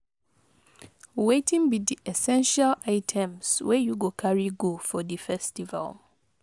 Wetin be di essential items wey you go carry go for di festival?